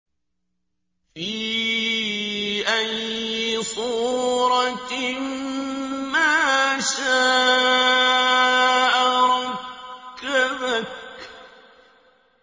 فِي أَيِّ صُورَةٍ مَّا شَاءَ رَكَّبَكَ